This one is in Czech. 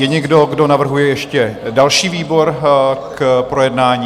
Je někdo, kdo navrhuje ještě další výbor k projednání?